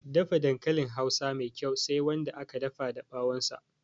Dafa dankalin hausa Mai kyau Sai Wanda aka dafa da ɓawon sa